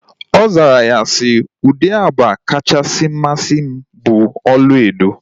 Ọ zara ya si, ụdị agba kachasị amasị m bụ ọlaedo